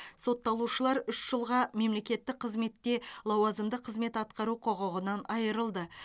сотталушылар үш жылға мемлекеттік қызметте лауазымды қызмет атқару құқығынан айырылды